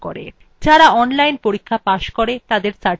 যারা online পরীক্ষা pass করে তাদের certificates দেয়